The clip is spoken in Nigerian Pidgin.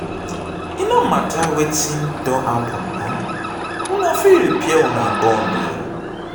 e no mata wetin don happen um una fit repair una bond o.